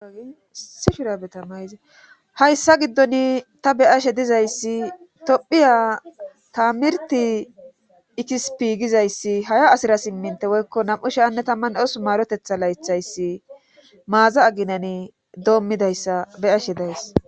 hayssa giddoni ta beyashe dizayssi tophiya taamirti ikisipi gizayssi haya asira simminte woykko nam7u she anne tamman eos maarotetha laythayssi maaza aginani doommidayssa beyashe days